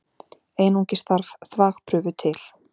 Einungis þarf þvagprufu til.